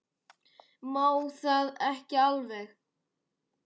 Má það ekki alveg?